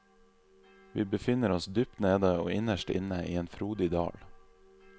Vi befinner oss dypt nede og innerst inne i en frodig dal.